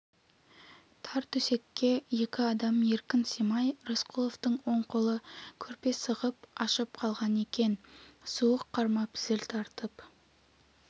тар төсекке екі адам еркін симай рысқұловтың оң қолы көрпе сырғып ашық қалған екен суық қармап зіл тартып